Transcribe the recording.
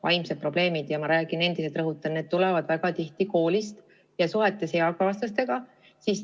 Ja ma rõhutan veel kord, et need probleemid tulenevad väga tihti koolist ja suhetest eakaaslastega.